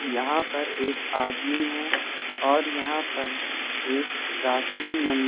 यहां पर एक आदमी है और यहां पर एक प्राचीन मंदिर--